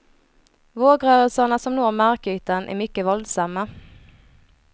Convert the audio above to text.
Vågrörelserna som når markytan är mycket våldsamma.